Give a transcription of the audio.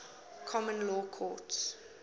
common law courts